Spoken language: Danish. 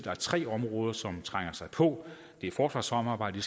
er tre områder som trænger sig på det er forsvarssamarbejdet